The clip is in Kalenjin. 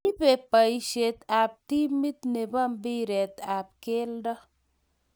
ibei boisie ab timit ne bo mpiret ab kelto